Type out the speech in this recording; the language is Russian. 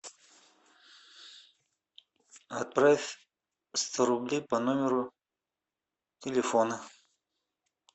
отправь сто рублей по номеру телефона